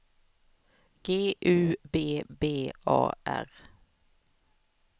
G U B B A R